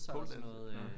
Poledancing? Nå